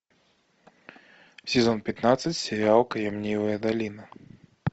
сезон пятнадцать сериал кремниевая долина